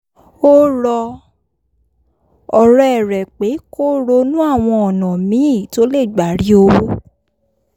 ó rọ ọ̀rẹ́ rẹ̀ pé kó ronú àwọn ọ̀nà míì tó lè gbà rí owó